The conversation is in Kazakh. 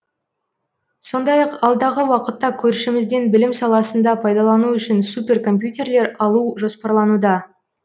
сондай ақ алдағы уақытта көршімізден білім саласында пайдалану үшін супер компьютерлер алу жоспарлануда